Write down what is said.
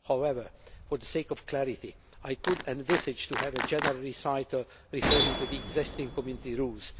However, for the sake of clarity, I could envisage a general recital referring to the existing Community